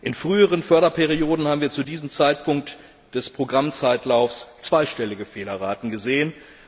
In früheren Förderperioden haben wir zu diesem Zeitpunkt des Programmzeitlaufs zweistellige Fehlerraten gesehen.